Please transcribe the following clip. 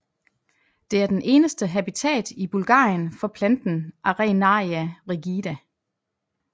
Det er den eneste habitat i Bulgarien for planten Arenaria rigida